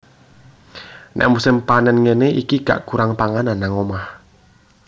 Nek musim panen ngene iki gak kurang panganan nang omah